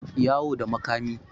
yawo da makami